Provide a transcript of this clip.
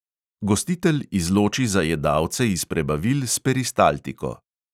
Gostitelj izloči zajedavce iz prebavil s peristaltiko.